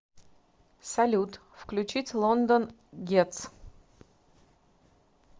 салют включить лондон гетс